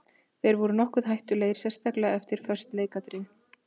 Þeir voru nokkuð hættulegir sérstaklega eftir föst leikatriði.